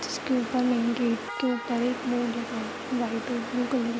इसके ऊपर मैन के ऊपर एक बोर्ड लगा हुआ है वाइट और ब्लू कलर --